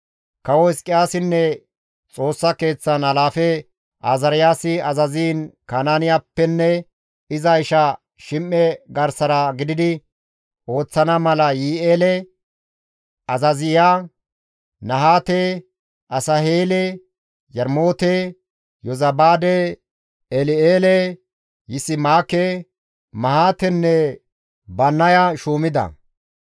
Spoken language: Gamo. Kawo Hizqiyaasinne Xoossa keeththan alaafe Azaariyaasi azaziin Kanaaniyappenne iza isha Shim7e garsara gididi ooththana mala Yihi7eele, Azaaziya, Nahaate, Asaheele, Yarmoote, Yozabaade, El7eele, Yisimaake, Mahaatenne Bannaya shuumida.